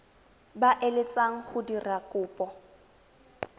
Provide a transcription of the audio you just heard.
ba eletsang go dira kopo